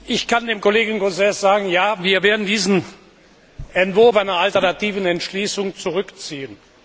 Ich kann dem Kollegen Gauzès sagen Ja, wir werden diesen Entwurf einer alternativen Entschließung zurückziehen.